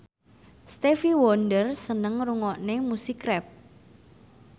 Stevie Wonder seneng ngrungokne musik rap